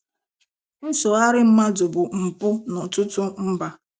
Nsogharị mmadụ bụ mpụ n'ọtụtụ mba.